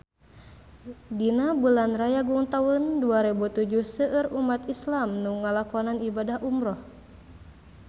Dina bulan Rayagung taun dua rebu tujuh seueur umat islam nu ngalakonan ibadah umrah